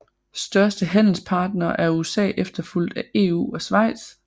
Største handelspartner er USA efterfulgt af EU og Schweiz